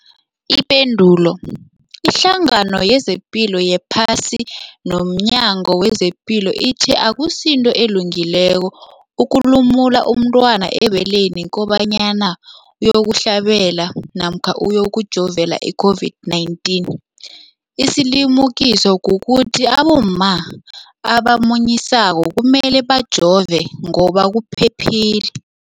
Ipendulo, iHlangano yezePilo yePhasi nomNyango wezePilo ithi akusinto elungileko ukulumula umntwana ebeleni kobanyana uyokuhlabela namkha uyokujovela i-COVID-19. Isilimukiso kukuthi abomma abamunyisako kumele bajove ngoba kuphephile.